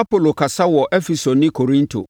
Apolo Kasa Wɔ Efeso Ne Korinto